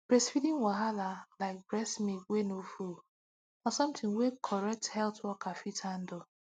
breastfeeding wahala like breast milk wey nor full na something wey correct health worker fit handle